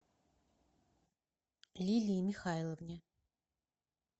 лилии михайловне